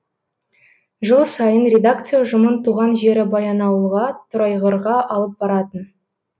жыл сайын редакция ұжымын туған жері баянауылға торайғырға алып баратын